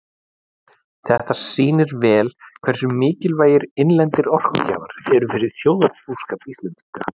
Þetta sýnir vel hversu mikilvægir innlendir orkugjafar eru fyrir þjóðarbúskap Íslendinga.